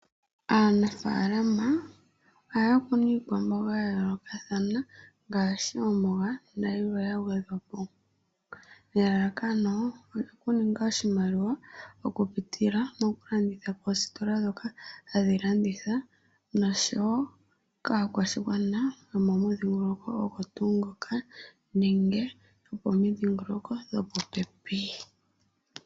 Aanafalama ohaya kunu iikwamboga ya yoolokothana ngaashi omboga nayilwe ya gwedhwa po, nelalakano oku ninga oshimaliwa mokupitila moku landitha moositola ndhoka hadhi landitha noshowo kaakwashigwana yomomudhingoloko ogwo tuu ngoka nenge yomomidhingoloko dhopo pepi.